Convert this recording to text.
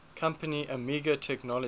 company amiga technologies